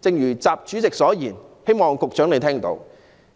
正如習主席所言，"